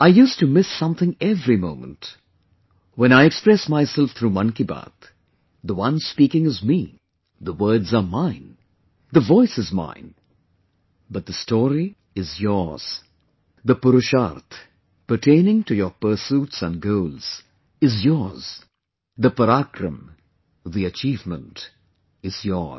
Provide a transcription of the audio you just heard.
I used to miss something every moment; when I express myself through 'Mann Ki Baat,' the one speaking is me, the words are mine, the voice is mine, but the story is yours, the 'Purusharth' pertaining to your pursuits and goals is yours, the 'Parakram', the achievement is yours